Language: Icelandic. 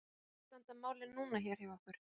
Hvernig standa málin núna hér hjá okkur?